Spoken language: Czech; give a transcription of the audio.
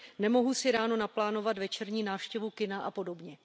Nemohu si ráno naplánovat večerní návštěvu kina a podobně.